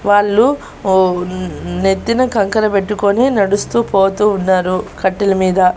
వాళ్లు ఓ నెత్తిన కంకర పెట్టుకొని నడుస్తూ పోతూ ఉన్నారు కట్టెల మీద.